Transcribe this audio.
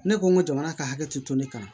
Ne ko n ko jamana ka hakɛ te to ne kama